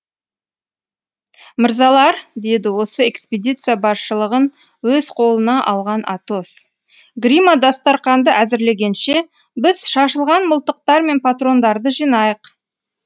мырзалар деді осы экспедиция басшылығын өз қолына алған атос гримо дастарқанды әзірлегенше біз шашылған мылтықтар мен патрондарды жинайық